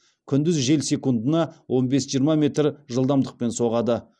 күндіз жел секундына он бес жиырма метр жылдамдықпен соғады